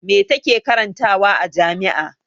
Me ta ke karantawa a jami'a?